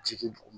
Jigin dugu